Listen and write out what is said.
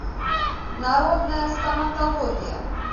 народная стоматология